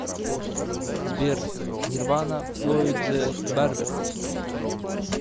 сбер нирвана флойд зе барбер